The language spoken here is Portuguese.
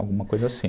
Alguma coisa assim.